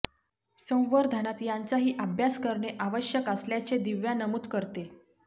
संवर्धनात यांचाही अभ्यास करणे आवश्यक असल्याचे दिव्या नमूद करते